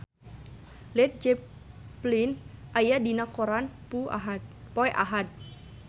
Led Zeppelin aya dina koran poe Ahad